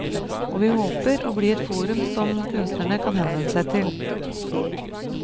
Og vi håper å bli et forum som kunstnere kan henvende seg til.